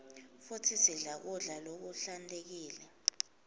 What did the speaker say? futsi sidle kudla lokuhlantekile